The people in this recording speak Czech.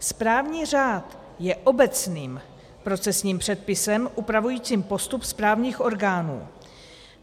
Správní řád je obecným procesním předpisem upravujícím postup správních orgánů.